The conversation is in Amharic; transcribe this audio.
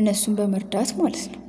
እነሱን በመርዳት ማለት ነው።